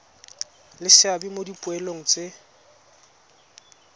le seabe mo dipoelong tse